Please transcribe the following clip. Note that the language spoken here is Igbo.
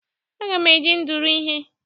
Aga m eji ndụrụ ihe.